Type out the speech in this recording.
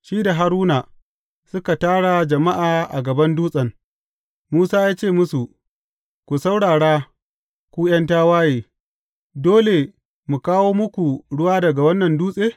Shi da Haruna, suka tara jama’a a gaban dutsen, Musa ya ce musu, Ku saurara, ku ’yan tawaye, dole mu kawo muku ruwa daga wannan dutse?